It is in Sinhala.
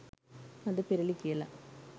පද පෙරළි කියලා.